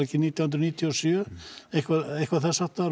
ekki nítján hundruð níutíu og sjö eitthvað eitthvað þess háttar